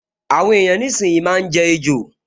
Àwọn èèyàn nísìínyi máa n jẹ ejò